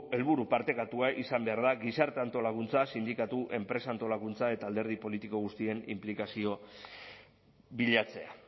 helburu partekatua izan behar da gizarte antolakuntza sindikatu enpresa antolakuntza eta alderdi politiko guztien inplikazio bilatzea